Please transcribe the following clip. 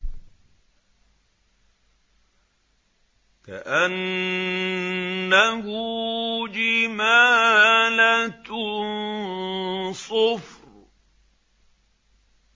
كَأَنَّهُ جِمَالَتٌ صُفْرٌ